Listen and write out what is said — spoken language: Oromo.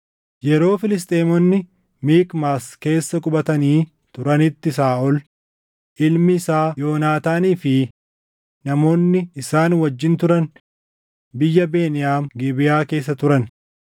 Yeroo Filisxeemonni Mikmaas keessa qubatanii turanitti Saaʼol, ilmi isaa Yoonaataanii fi namoonni isaan wajjin turan biyya Beniyaam Gibeʼaa keessa turan.